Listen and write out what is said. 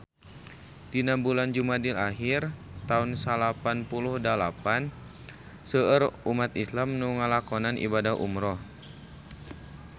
Dina bulan Jumadil ahir taun salapan puluh dalapan seueur umat islam nu ngalakonan ibadah umrah